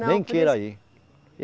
Nem queira ir.